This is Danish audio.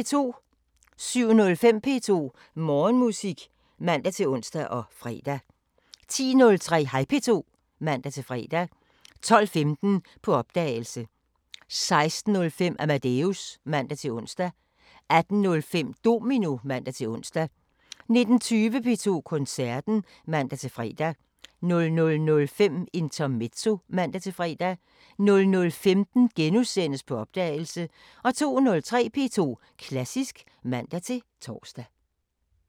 07:05: P2 Morgenmusik (man-ons og fre) 10:03: Hej P2 (man-fre) 12:15: På opdagelse 16:05: Amadeus (man-ons) 18:05: Domino (man-ons) 19:20: P2 Koncerten (man-fre) 00:05: Intermezzo (man-fre) 00:15: På opdagelse * 02:03: P2 Klassisk (man-tor)